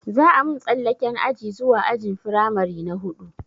Za a mun tsallaken aji zuwa ajin firamare na huɗu